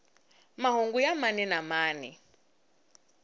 mahungu ya mani na mani